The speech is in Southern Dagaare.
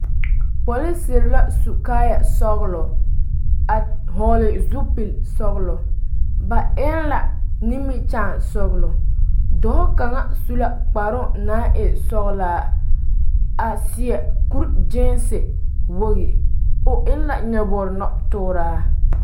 Polisiri la su kaayɛ sɔgelɔ a hɔgele zupili sɔgelɔ ba eŋ la nimikyaane sɔgelɔ dɔɔ kaŋ su la kparoo naŋ e sɔgelaa a seɛ kuri kyeese wogi o eŋ la nyɔboo nɔtooraa